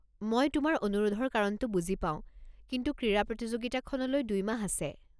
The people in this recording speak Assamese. মই তোমাৰ অনুৰোধৰ কাৰণটো বুজি পাওঁ, কিন্তু ক্ৰীড়া প্ৰতিযোগিতাখনলৈ দুই মাহ আছে।